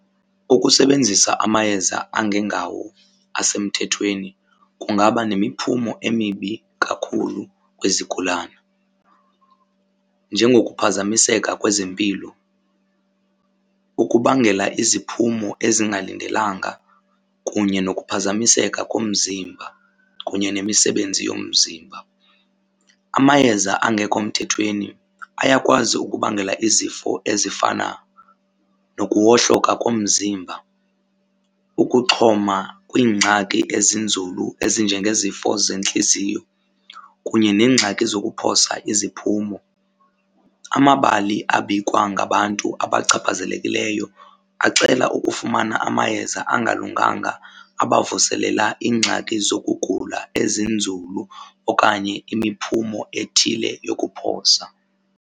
Ukusebenzisa amayeza angengawo asemthethweni kungaba nemiphumo emibi kakhulu kwizigulana njengokuphazamiseka kwezempilo, ukubangela iziphumo ezingalindelanga kunye nokuphazamiseka komzimba kunye nemisebenzi yomzimba. Amayeza angekho mthethweni ayakwazi ukubangela izifo ezifana nokuwohloka komzimba, ukuxhoma kwiingxaki ezinzulu ezinjengezifo zentliziyo kunye neengxaki zokuphosa iziphumo. Amabali abikwa ngabantu abachaphazelekileyo axela ukufumana amayeza angalunganga abavuselela iingxaki zokugula ezinzulu okanye imiphumo ethile yokuphosa.